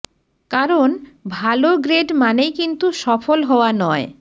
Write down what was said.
কারণ ভালো গ্রেড মানেই কিন্তু সফল হওয়া নয়